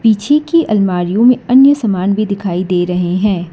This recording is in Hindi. पीछे की अलमारीयो में अन्य सामान भी दिखाई दे रहे हैं।